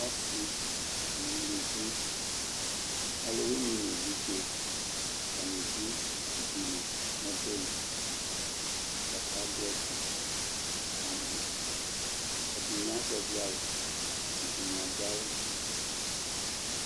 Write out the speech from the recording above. ɔsi no uluvi ɔlòwini n'evidze atani do ivi li n'ɔbɛ li k'aka do ɛdi ka mɔ ɛdini azɛvi awu ɛdini adu awu